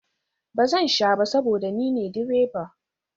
Ba zan sha ba saboda ni ne direba